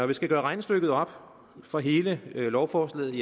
vi skal gøre regnestykket op for hele lovforslaget